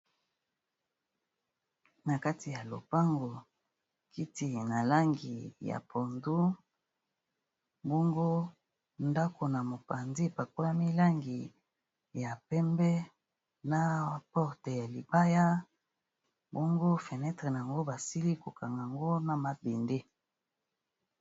Na kati ya lopango, kiti na langi ya pondu bongo ndako na mopanzi e pakolami langi ya pembe, na porte ya libaya bongo fenetre n'ango, basili ko kang'ango na mabend .